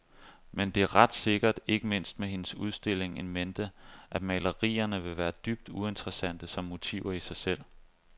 Men det er ret sikkert, ikke mindst med hendes udstilling in mente, at malerierne vil være dybt uinteressante som motiver i sig selv.